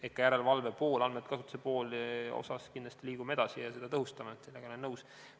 Ehk järelevalve ja andmekasutusega kindlasti liigume edasi ja tõhustame seda, sellega olen nõus.